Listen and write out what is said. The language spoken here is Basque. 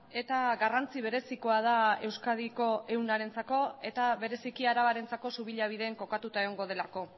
eta garrantzi berezikoa da euskadiko ehunarentzako eta bereziki arabarentzako subillabiden kokatuta egongo delako